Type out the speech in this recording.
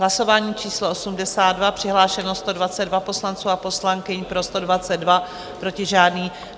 Hlasování číslo 82, přihlášeno 122 poslanců a poslankyň, pro 122, proti žádný.